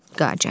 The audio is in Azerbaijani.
Qacar.